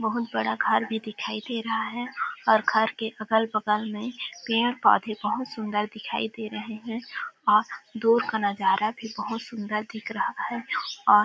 बहुत बड़ा घर भी दिखाई दे रहा है और घर के अगल -बगल में पेड़ -पौधे बहुत सुन्दर दिखाई दे रहे है और दूर का नज़ारा भी बहुत सुन्दर दिख रहा है और --.